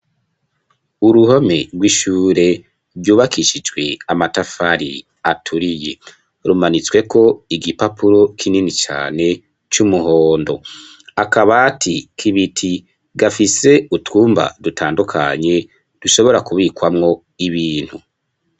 Uruhome rw'ishure ryubakishijwe amatafari aturiye rumanitsweko igipapuro kinini cane c'umuhondo, akabati kibiti gafise utwumba dutandukanye dushobora kubikwamwo ibintu.